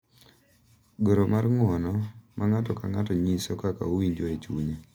Goro mar ng’uono, ma ng’ato ka ng’ato nyiso kaka owinjo e chunye